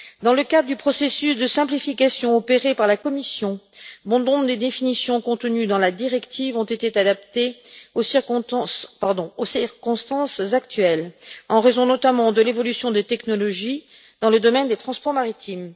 Dans le cadre du processus de simplification opéré par la Commission, bon nombre des définitions contenues dans la directive ont été adaptées aux circonstances actuelles, en raison notamment de l'évolution des technologies dans le domaine des transports maritimes.